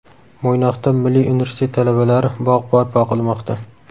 Mo‘ynoqda Milliy universitet talabalari bog‘ barpo qilmoqda.